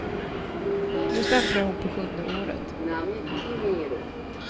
Nu stämplar hon på sjunde året.